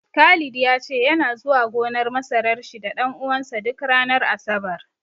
Khalid ya ce yana zuwa gonar masarar shi da ɗan uwansa duk ranar Asabar.